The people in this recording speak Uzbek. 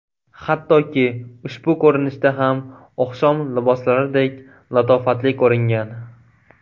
Hattoki ushbu ko‘rinishda ham oqshom liboslaridek latofatli ko‘ringan.